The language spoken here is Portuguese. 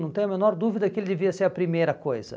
Não tenho a menor dúvida que ele devia ser a primeira coisa.